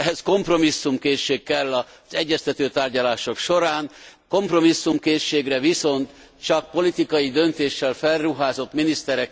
Ehhez kompromisszumkészség kell az egyeztető tárgyalások során, kompromisszumkészségre viszont csak politikai döntéssel felruházott miniszterek képesek.